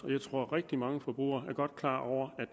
jeg tror at rigtig mange forbrugere godt er klar over